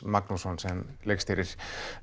Magnússon sem leikstýrir